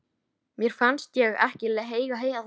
Mér fannst ég ekki eiga heima þar lengur.